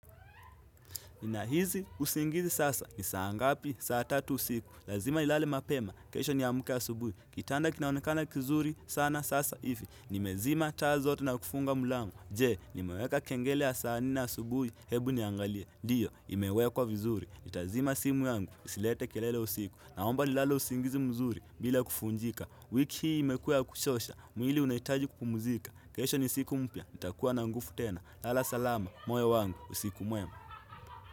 Ninahizi usingizi sasa ni saa ngapi saa tatu usiku Lazima nilale mapema, kesho ni amke asubui Kitanda kinaonekana kizuri sana sasa ifi Nimezima taa zote na kufunga mlango Je, nimeweka kengele ya saa nne asubuhi, hebu niangalie Dio, imewekwa kwa vizuri nitazima simu yangu, isilete kelele usiku Naomba nilale usingizi mzuri, bila kufunjika wiki hii imekuwa ya kuchosha, mwili unahitaji kupumuzika kesho ni siku mpya, nitakuwa na ngufu tena Lala salama, moyo wangu, usiku mwema.